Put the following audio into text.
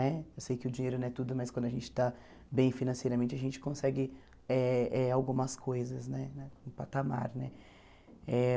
Né? Eu sei que o dinheiro não é tudo, mas quando a gente está bem financeiramente, a gente consegue eh eh algumas coisas, né um patamar né eh.